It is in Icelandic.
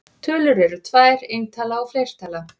Tölur eru tvær: eintala og fleirtala.